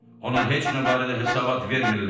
Ona heç nə barədə hesabat vermirlər.